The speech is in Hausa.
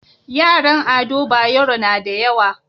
Yaran ado bayero nada yawa